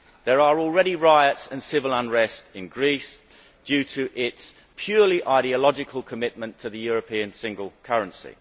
There are already riots and civil unrest in Greece due to its purely ideological commitment to the European single currency.